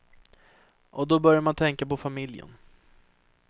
Och då börjar man tänka på familjen.